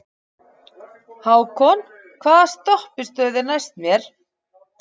Hákon, hvaða stoppistöð er næst mér?